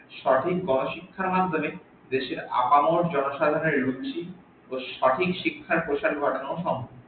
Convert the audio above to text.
সঠিক গন শিক্ষার মাধ্যমে দেশের আপানউ জনসাধারনের রুচি ও সঠিক শিক্ষার প্রসার করানো সম্ভব।